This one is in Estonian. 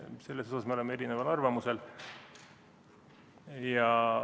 Selles me oleme erineval arvamusel.